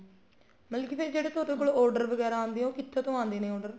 ਮਤਲਬ ਕੀ ਫ਼ੇਰ ਜਿਹੜੇ ਤੁਹਾਡੇ ਕੋਲ order ਵਗੇਰਾ ਆਂਦੇ ਹੈ ਉਹ ਕਿੱਥੋ ਤੋ ਆਉਦੇ ਨੇ order